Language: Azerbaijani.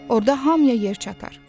Orda hamıya yer çatar.